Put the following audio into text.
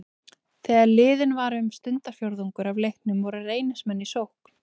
Þegar liðinn var um stundarfjórðungur af leiknum voru Reynismenn í sókn.